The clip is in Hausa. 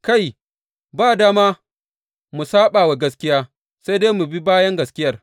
Kai, ba dama mu saɓa wa gaskiya, sai dai mu bi bayan gaskiyar.